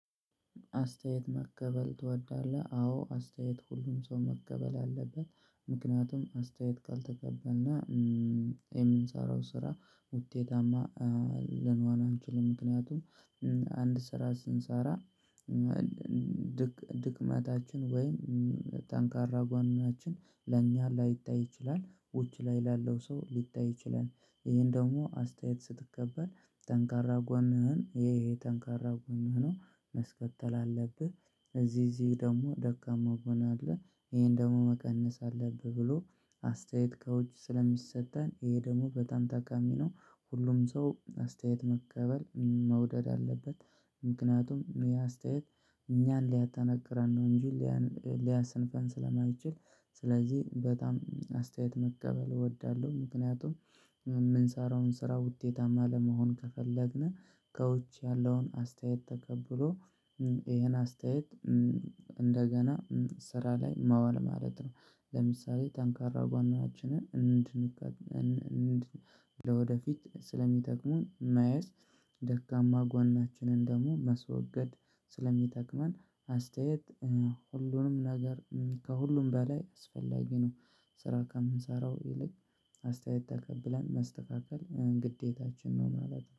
አስተያየት መቀበል ትወዳለህ አዎ አስተያየት ሁሉም ሰው መቀበል አለበት ምክንያቱም አስተያየት ቃል ትቀበልና የምንሰራው ስራ ውጤታማ ልንሆን አንችልም ምክንያቱም አንድ ስራ ስንሰራ ድክመታችን ወይም ጠንካራ ጎናችን ለእኛ ላይታይ ይችላል ውጭ ላይ ላለው ሰው ሊታይ ይችላል። ይሄን ደግሞ አስተያየት ስትቀበል ጠንካራ ጎንህን ይሄ ይሄ ጠንካራ ጎንህ ነው ማስከተል አለብህ። እዚህ እዚህ ደግሞ ደካማ ጎን አለ ይሄን ደግሞ መቀነስ አለብህ። ብሎ አስተያየት ከውጭ ስለሚሰጠን ይሄ ደግሞ በጣም ጠቃሚ ነው። ሁሉም ሰው አስተያየት መቀበል መውደድ አለበት። ምክንያቱም ይሄ አስተያየት እኛን ሊያጠነክረን ነው እንጂ ሊያሰንፈን ስለማይችል። ስለዚህ በጣም አስተያየት መቀበል እወዳለሁ። ምክንያቱም የምንሰራውን ስራ ውጤታማ ለመሆን ከፈለግን ከውጭ ያለውን አስተያየት ተቀብሎ ይሄን አስተያየት እንደገና ስራ ላይ ማዋል ማለት ነው። ለምሳሌ ጠንካራ ጎናችንን እንድንገት እንድንገት ለወደፊት ስለሚጠቅሙን እናያዝ። ደካማ ጎናችንን ደግሞ መስወገድ ስለሚጠቅመን አስተያየት ሁሉንም ነገር ከሁሉም በላይ አስፈላጊ ነው። ስራ ከምንሰራው ይልቅ አስተያየት ተቀብለን ማስተካከል ግዴታችን ነው ማለት ነው